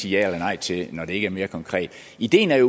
sige ja eller nej til når det ikke er mere konkret ideen er